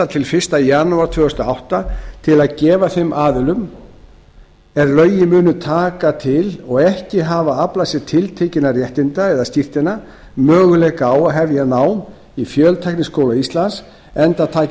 til fyrsta janúar tvö þúsund og átta til að gefa þeim aðilum er lögin munu taka til og ekki hafa aflað sér tiltekinna réttinda möguleika á að hefja nám í fjöltækniskóla íslands enda taki